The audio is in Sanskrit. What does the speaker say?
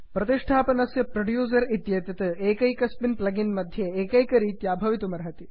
संस्थापनस्य प्रोड्यूसर् इत्येतत् एकैकस्मिन् प्लग् इन् मध्ये एकैकरीत्या भवतुमर्हति